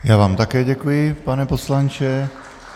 Já vám také děkuji, pane poslanče.